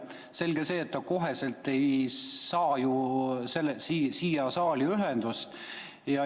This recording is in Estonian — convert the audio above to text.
Selge see, et ta kohe ei saa ju saaliga ühendust.